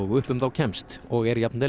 upp um þá kemst og er jafnvel